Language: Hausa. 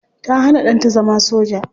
Ta hana danta zama soja.